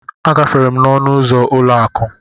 A gafere n'ọnụ ụzọ ụlọ akụ.